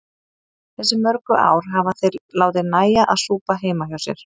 Þessi mörgu ár hafa þeir látið nægja að súpa heima hjá sér.